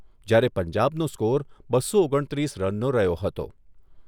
જ્યારે પંજાબનો સ્કોર બસો ઓગણ ત્રીસ રનનો રહ્યો હતો.